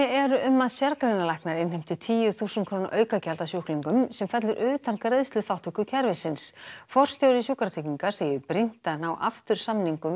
eru um að sérgreinalæknar innheimti tíu þúsund króna aukagjald af sjúklingum sem fellur utan greiðsluþátttökukerfisins forstjóri Sjúkratrygginga segir brýnt að ná aftur samningum